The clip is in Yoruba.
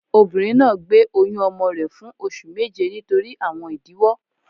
Obìnrin náà gbé oyún ọmọ rẹ fun oṣù méje nítorí àwọn ìdíwó